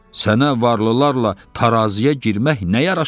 Sənə varlılarla taraziyə girmək nə yaraşar?